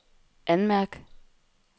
anmærk